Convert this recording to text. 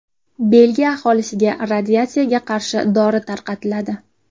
Belgiya aholisiga radiatsiyaga qarshi dori tarqatiladi.